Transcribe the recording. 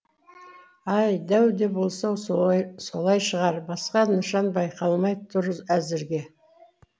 ай дәу де болса солай шығар басқа нышан байқалмай түр әзірге